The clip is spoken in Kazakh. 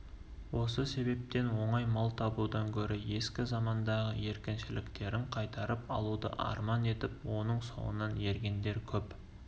осы себептен оңай мал табудан гөрі ескі замандағы еркіншіліктерін қайтарып алуды арман етіп оның соңынан ергендер көп